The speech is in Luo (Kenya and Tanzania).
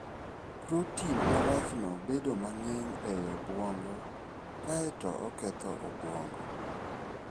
Protin marachno bedo mang'eny e obwongo, kae to oketh obwongo.